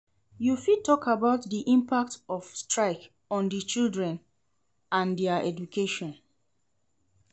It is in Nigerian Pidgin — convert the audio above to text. You fit talk about di impact of strike on di children and dia education.